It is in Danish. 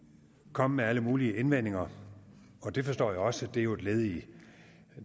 komme med alle mulige indvendinger og det forstår jeg også det er jo et led i